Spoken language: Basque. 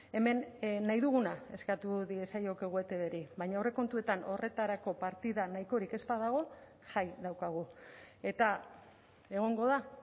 hemen nahi duguna eskatu diezaiokegu etbri baina aurrekontuetan horretarako partida nahikorik ez badago jai daukagu eta egongo da